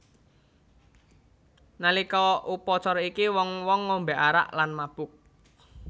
Nalika upacara iki wong wong ngombe arak lan mabuk